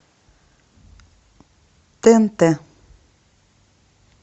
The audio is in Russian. тнт